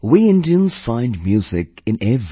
We Indians find music in everything